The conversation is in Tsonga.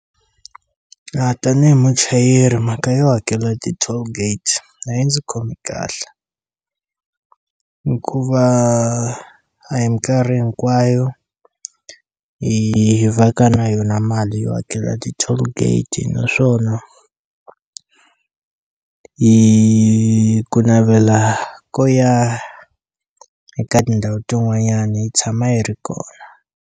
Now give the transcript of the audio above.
A tanihi muchayeri mhaka yo hakela ti-tollgate a yi ndzi khomi kahle hikuva a hi minkarhi hinkwayo hi va ka na yona mali yo hakela ti-tollgate naswona hi ku navela ko ya eka tindhawu tin'wanyani yi tshama yi ri kona.